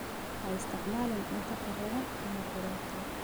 Ha isticmaalin cunto kharriban ama qudhuntay.